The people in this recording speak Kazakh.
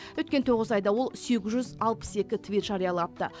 өткен тоғыз айда ол сегіз жүз алпыс екі твит жариялапты